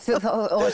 og